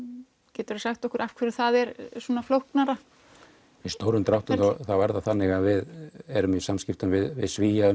getur þú sagt okkur af hverju það er svona flóknara í stórum dráttum þá er það þannig að við erum í samskiptum við Svíana